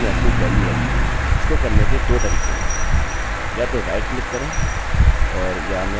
या मैं आपको क्या दिखाऊँगा कि खोलने के लिए फाइल कैसे बनाएँ जोकि फंक्शनfunction fopen है